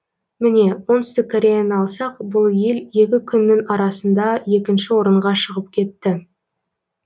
міне оңтүстік кореяны алсақ бұл ел екі күннің арасында екінші орынға шығып кетті